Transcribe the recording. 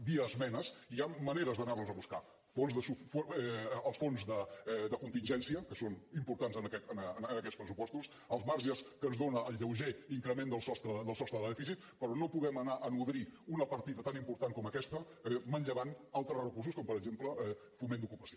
via esmenes hi ha maneres d’anar les a buscar els fons de contingència que són importants en aquests pressupostos els marges que ens dóna el lleuger increment del sostre de dèficit però no podem anar a nodrir una partida tan important com aquesta manllevant altres recursos com per exemple foment d’ocupació